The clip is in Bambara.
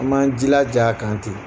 An m'an jilaja a kante.